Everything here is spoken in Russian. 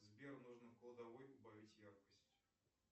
сбер нужно в кладовой убавить яркость